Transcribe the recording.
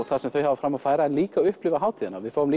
það sem þau hafa fram að færa en líka upplifa hátíðina við fáum